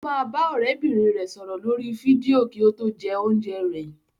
Ó máa bá ọ̀rẹ́bìnrin rẹ̀ sọ̀rọ̀ lórí fídíò kí ó tó jẹ oúnjẹ rẹ̀.